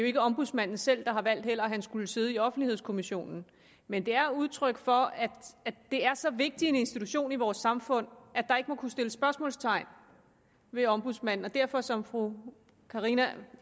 ikke ombudsmanden selv der har valgt at han skulle sidde i offentlighedskommissionen men det er udtryk for at det er så vigtig en institution i vores samfund at der ikke må kunne sættes spørgsmålstegn ved ombudsmanden og derfor som fru karina